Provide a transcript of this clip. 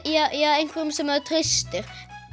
einhverjum sem maður treystir